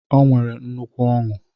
O nwere nnukwu Ọńụ